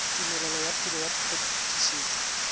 tumelelo ya tiro ya phetisetso